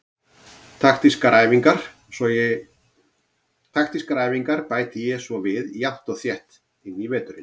Taktískar æfingar bæti ég svo við jafnt og þétt inn í veturinn.